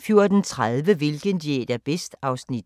14:30: Hvilken diæt er bedst? (Afs. 2)